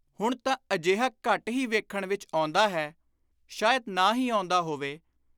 ਹੁਣ ਤਾਂ ਅਜਿਹਾ ਘੱਟ ਹੀ ਵੇਖਣ ਵਿਚ ਆਉਂਦਾ ਹੈ (ਸ਼ਾਇਦ ਨਾ ਹੀ ਆਉਂਦਾ ਹੋਵੇ)